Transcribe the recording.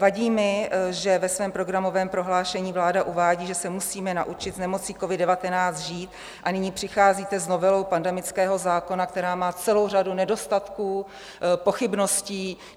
Vadí mi, že ve svém programovém prohlášení vláda uvádí, že se musíme naučit s nemocí covid-19 žít, a nyní přicházíte novelou pandemického zákona, která má celou řadu nedostatků, pochybností.